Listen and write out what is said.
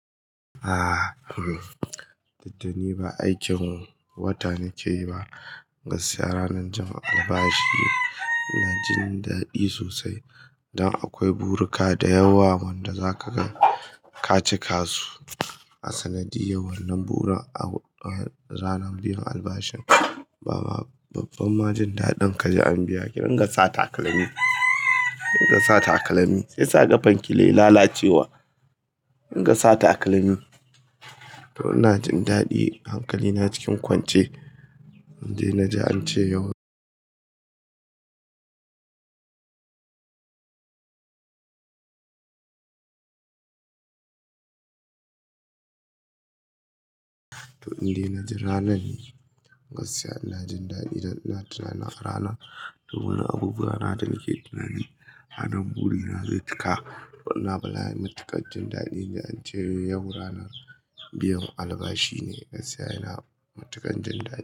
Aaa, duk da ni ba aikin wata nake yi ba, gaskiya ranar Juma'ar albashi ina jin daɗi sosai. Dan akwai burika da yawa wanda za ka ga kaci kasu. A sanadiyar wannan burin, a ranar biyan albashi, baba babban majin daɗin kaji an biya. Ki rin ga sa takalmi, ki rin ga sa takalmi shi sa ƙafan ki ke lalacewa. In ga sa takalmi, to ina jin daɗi hankali na cikin kwance. Inde na ji an ce yau to inde na ji ranan ne, gaskiya ina jin daɗi dan ina tunanin ranar. To wani abubuwa na dake tunani. A nan buri na zai cika to ina bala'in matuƙar jin daɗin da an ce min yau rana biyan albashi ne gaskiya ina matuƙan jin daɗi.